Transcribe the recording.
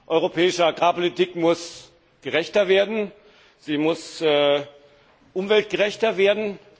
Europäische Agrarpolitik muss gerechter werden, sie muss umweltgerechter werden.